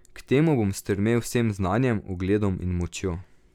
K temu bom stremel z vsem znanjem, ugledom in močjo.